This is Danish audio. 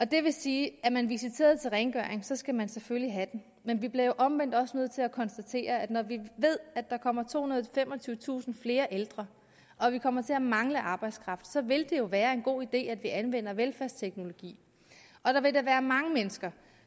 det vil sige at er man visiteret til rengøring skal man selvfølgelig have det men vi bliver jo omvendt også nødt til at konstatere at når vi ved at der kommer tohundrede og femogtyvetusind flere ældre og vi kommer til at mangle arbejdskraft vil det jo være en god idé at vi anvender velfærdsteknologi og der vil da være mange mennesker